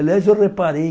Aliás, eu reparei.